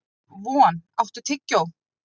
Von, áttu tyggjó?